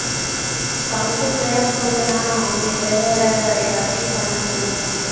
function வேற போறன அவங்களுக்கு வேற எதாச்சும் பண்ணணும்.